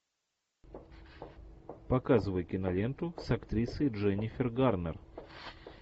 показывай киноленту с актрисой дженнифер гарнер